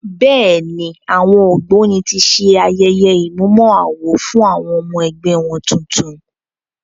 Bẹ́ẹ̀ ni, àwọn Ògbóni ti ṣe ayẹye ìmúmọ-awo fún àwọn ọmọ-ẹgbẹ́ wọn tuntun.